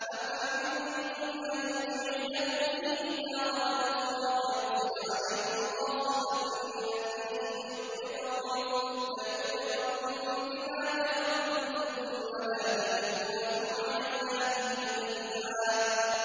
أَمْ أَمِنتُمْ أَن يُعِيدَكُمْ فِيهِ تَارَةً أُخْرَىٰ فَيُرْسِلَ عَلَيْكُمْ قَاصِفًا مِّنَ الرِّيحِ فَيُغْرِقَكُم بِمَا كَفَرْتُمْ ۙ ثُمَّ لَا تَجِدُوا لَكُمْ عَلَيْنَا بِهِ تَبِيعًا